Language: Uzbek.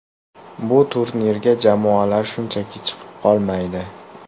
Bu turnirga jamoalar shunchaki chiqib qolmaydi.